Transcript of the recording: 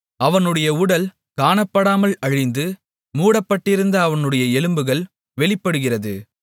அவனுடைய உடல் காணப்படாமல் அழிந்து மூடப்பட்டிருந்த அவனுடைய எலும்புகள் வெளிப்படுகிறது